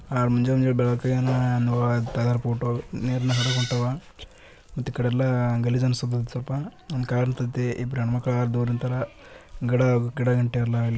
ಆ ಮುಂಜಾ ಬೆಳಕಾಯೇನ ಆ ತೆಗೆದ ಫೋಟೋ ನೀರ್ನ ಹಡಗ್ ಒಂಟಾವಾ ಮತ್ತೀಕಡೆಯೆಲ್ಲ ಗಲೀಜ್ ಅನ್ಸ ಕ್ಕಾಯಿತಿಯೆಲ್ಲ ಒಂದ್ದ್ ಕಾರ್ ನಿಂತೈತಿ ಇಬ್ರಾಯೆಂಮಕ್ಳು ದೂರ ನಿಂತಾರ ಗಿಡ ಗಿಡಗಂಟಿಯೆಲ್ಲಾ ಇಲ್ಲ.